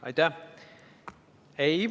Aitäh!